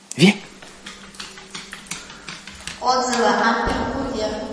отзывы ампер курьер